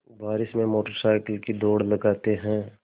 बारिश में motorcycle की दौड़ लगाते हैं